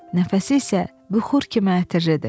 Nəfəsi isə buxur kimi ətirlidir.